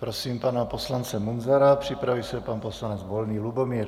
Prosím pana poslance Munzara, připraví se pan poslanec Volný Lubomír.